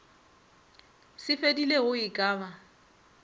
se fedilego e ka ba